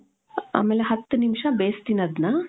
ಆಮೇಲೆ ಹತ್ತು ನಿಮಿಷ ಬೇಸ್ತಿನಿ ಅದ್ನ .